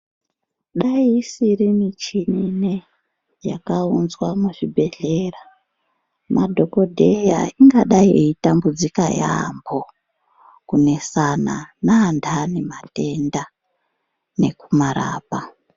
Dai isiri michini ineyi yakaunzwa muzvibhedhlera, madhogodheya ingadai eitambudzika yaambo. Kunesana neantani matenda nekumarapa.